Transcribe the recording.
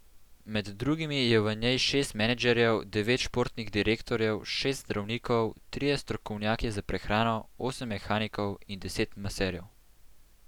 Med drugimi je v njej šest menedžerjev, devet športnih direktorjev, šest zdravnikov, trije strokovnjaki za prehrano, osem mehanikov in deset maserjev.